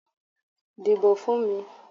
Díbó fún mi.